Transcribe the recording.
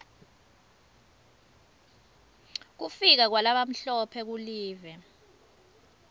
kufika kwalabamhlophe kulive